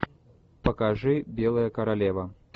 покажи белая королева